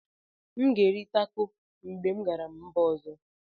M ga-eri taco mgbe m gara mba ọzọ.